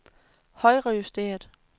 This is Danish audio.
højrejusteret